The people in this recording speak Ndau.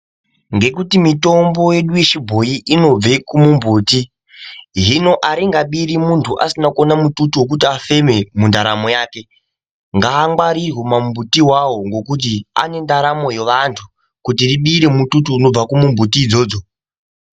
Ngekuti mitombo yedu ye chibhoyi inobve kumu mbuti hino aringa biri muntu asina kuona mututu wekuti afeme mu ndaramo yake ngaa ngwarirwe ma mbuti iwawo ngekuti ane ndaramo ye vantu kuti ribire mututu unobva ku mumbuti idzodzo.